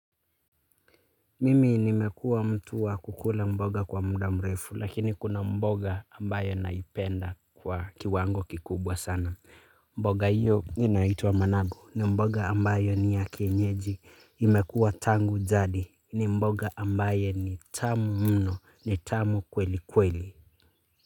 Mimi nimekuwa mtu wa kukula mboga kwa muda mrefu lakini kuna mboga ambayo naipenda kwa kiwango kikubwa sana. Mboga hiyo inaitwa managu ni mboga ambayo ni ya kienyeji imekuwa tangu jadi ni mboga ambayo ni tamu mno ni tamu kweli kweli.